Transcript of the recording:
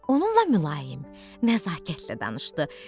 Onunla mülayim, nəzakətlə danışdı.